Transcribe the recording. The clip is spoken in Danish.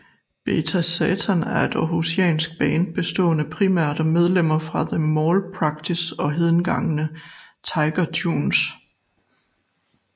Beta Satan er et aarhusiansk band bestående primært af medlemmer fra The Malpractice og hedengangne Tiger Tunes